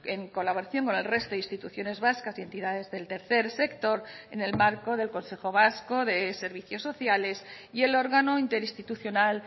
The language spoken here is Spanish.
en colaboración con el resto de instituciones vascas y entidades del tercer sector en el marco del consejo vasco de servicios sociales y el órgano interinstitucional